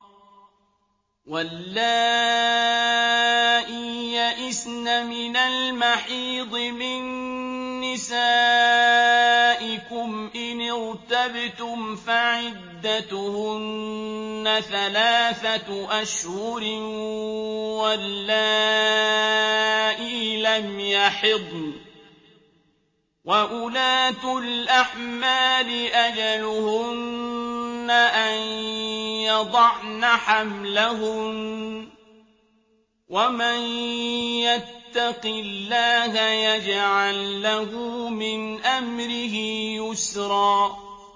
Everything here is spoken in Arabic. وَاللَّائِي يَئِسْنَ مِنَ الْمَحِيضِ مِن نِّسَائِكُمْ إِنِ ارْتَبْتُمْ فَعِدَّتُهُنَّ ثَلَاثَةُ أَشْهُرٍ وَاللَّائِي لَمْ يَحِضْنَ ۚ وَأُولَاتُ الْأَحْمَالِ أَجَلُهُنَّ أَن يَضَعْنَ حَمْلَهُنَّ ۚ وَمَن يَتَّقِ اللَّهَ يَجْعَل لَّهُ مِنْ أَمْرِهِ يُسْرًا